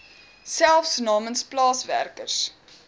selfs namens plaaswerkers